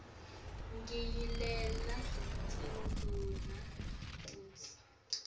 ngiyalele tindvuna kutsi